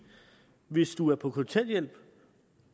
hvis du er på kontanthjælp